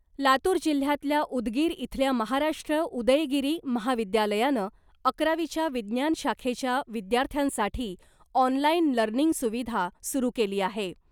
लातूर जिल्ह्यातल्या उदगीर इथल्या महाराष्ट्र उदयगिरी महाविद्यालयानं अकरावीच्या विज्ञान शाखेच्या विद्यार्थ्यांसाठी ऑनलाईन लर्निंग सुविधा सुरू केली आहे .